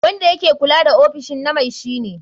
Wanda yake kula da ofishin na mai shi ne.